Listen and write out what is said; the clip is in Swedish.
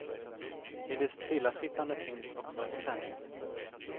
I det stillasittande finns också spänning.